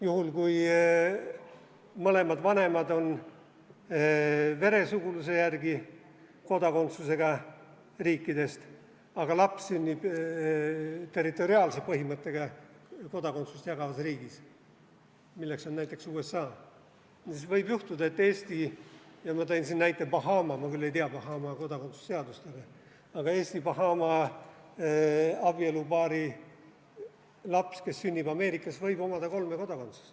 Juhul, kui mõlemad vanemad on veresuguluse järgi jagatava kodakondsusega riikidest, aga laps sünnib territoriaalse põhimõttega kodakondsust jagavas riigis, milleks on näiteks USA, siis võib juhtuda, et Eesti ja ma tõin siin näiteks Bahama – ma küll ei tea Bahama kodakondsuse seadust –, aga Eesti-Bahama abielupaari laps, kes sünnib Ameerikas, võib omada kolme kodakondsust.